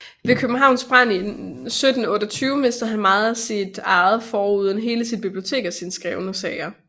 Ved Københavns brand 1728 mistede han meget af sit eje foruden hele sit bibliotek og sine skrevne sager